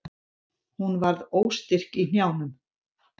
Hún varð óstyrk í hnjánum.